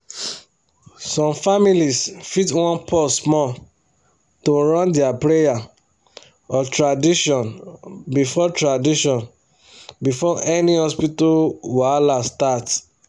some families fit wan pause small to run their prayer or tradition before tradition before any hospital wahala start